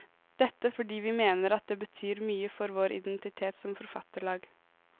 Dette fordi vi mener at det betyr mye for vår identitet som forfatterlag.